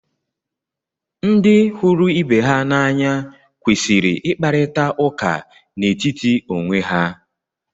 ndị hụrụ ibe ha n’anya kwesịrị ịkparịta ụka n'etiti onwe ha